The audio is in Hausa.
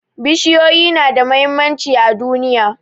Bishiyoyi na da muhimmanci a duniya